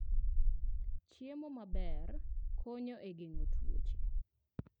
Chiemo maber konyo e geng'o tuoche.